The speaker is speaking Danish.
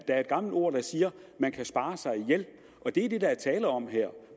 er et gammelt ord der siger at man kan spare sig ihjel og det er det der er tale om her